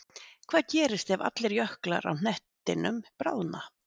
Hvað gerist ef allir jöklar á hnettinum bráðna?